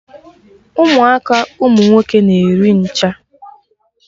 Ụmụaka ụmụ nwoke na-eri ncha!